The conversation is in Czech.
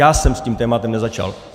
Já jsem s tím tématem nezačal.